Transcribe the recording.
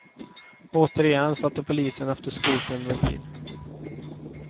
Återigen satte polisen efter skotern med bil.